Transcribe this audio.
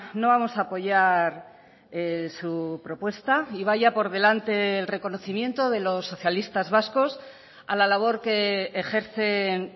no vamos a apoyar su propuesta y vaya por delante el reconocimiento de los socialistas vascos a la labor que ejercen